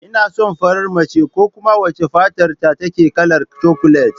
Ina son farar mace ko kuma wacce fatarta take kalar cakulet